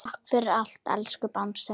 Takk fyrir allt, elsku Bangsi.